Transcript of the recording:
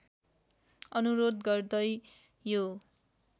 अनुरोध गर्दै यो